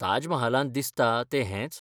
ताज महालांत दिसता तें हेंच?